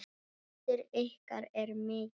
Missir ykkar er mikill.